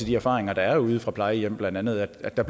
de erfaringer der er ude fra plejehjemmene blandt andet at der